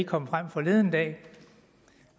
kommet frem forleden dag